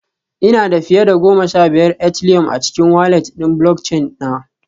Ina da fiye da goma sha biyar Ethileum a cikin walat ɗin Bulockchin na